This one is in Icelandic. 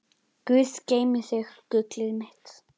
Guð geymi þig, gullið mitt.